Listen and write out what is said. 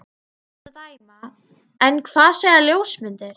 Af ljósmynd að dæma. en hvað segja ljósmyndir?